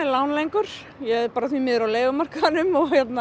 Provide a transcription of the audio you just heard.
lán lengur ég er því miður á leigumarkaðnum